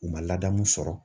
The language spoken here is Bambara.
U ma ladamu sɔrɔ